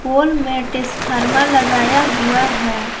पोल में टेसफार्मर लगाया हुआ है।